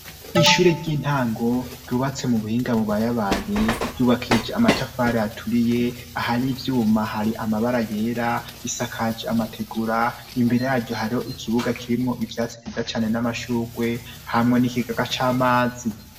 Ishure ry'intango ryubatse mu buhinga bubayabaye ryubakije amatafara aturiye ahari ivyuma hari amabara yera bisakaje amategura imbere yaryo hariho ikibuga kirimwo ivyatsi viza cane n'amashurwe hamwa n'ikigaga c'amazi.